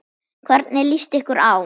Hvernig lýst ykkur á?